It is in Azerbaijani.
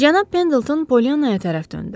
Cənab Pendilton Pollyanaya tərəf döndü.